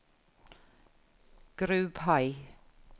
Grubhei